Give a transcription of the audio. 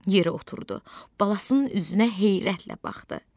Yeri oturdu, balasının üzünə heyrətlə baxdı.